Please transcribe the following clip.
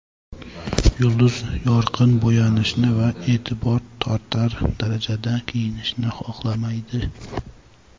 Yulduz yorqin bo‘yanishni va e’tibor tortar darajada kiyinishni xohlamaydi.